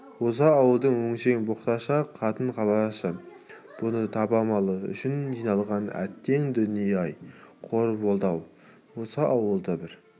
осы ауылдың өңшең боқташақ қатын-қалашы бұны табалау үшін жиналған әттең дүние-ай қор болды-ау осы ауылды бір